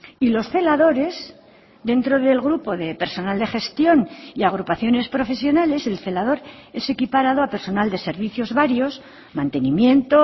y los celadores dentro del grupo de personal de gestión y agrupaciones profesionales el celador es equiparado a personal de servicios varios mantenimiento